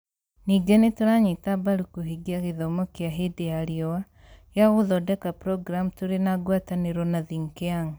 Ningĩ nĩ tũranyita mbaru kũhingia gĩthomo kĩa hĩndĩ ya riũa gĩa gũthondeka programu tũrĩ na ngwatanĩro na Think Young"